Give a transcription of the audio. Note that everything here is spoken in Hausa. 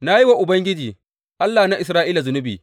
Na yi wa Ubangiji, Allah na Isra’ila zunubi.